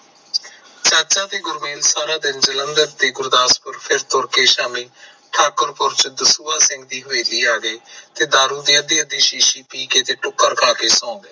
ਚਾਚਾ ਤੇ ਗੁਰਮੇਲ ਸਾਰਾ ਦਿਨ ਜਲੰਧਰ ਤੇ ਗੁਰਦਾਸਪੁਰ ਫਿਰ ਤੁਰ ਕ ਸ਼ਾਮੀ, ਠਾਕੁਰਪੁਰ ਸਿੱਧੂ ਸੁਹਾ ਸਿੰਘ ਦੀ ਹਵੇਲੀ ਆ ਗਏ, ਤੇ ਦਾਰੂ ਦੀ ਅੱਧੀ ਅੱਧੀ ਸ਼ੀਸ਼ੀ ਪੀ ਕੇ, ਤੇ ਟਿਕੜ ਖਾ ਕ ਸੋਂ ਗਏ